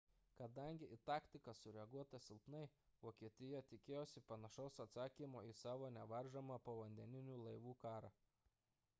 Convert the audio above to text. kadangi į taktiką sureaguota silpnai vokietija tikėjosi panašaus atsakymo į savo nevaržomą povandeninių laivų karą